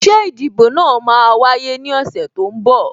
Ṣé ìdìbò náà máa wáyé ní ọ̀sẹ̀ tó ń bọ̀?